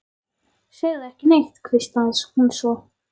Segðu ekki neitt, hvíslaði hún svo.